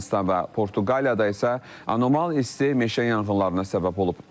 Yunanıstan və Portuqaliyada isə anormal isti meşə yanğınlarına səbəb olub.